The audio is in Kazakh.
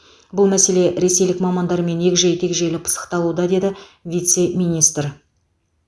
бұл мәселе ресейлік мамандармен егжей тегжейлі пысықталуда деді вице министр